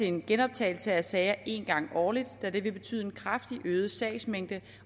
en genoptagelse af sagerne en gang årligt da det vil betyde en kraftigt øget sagsmængde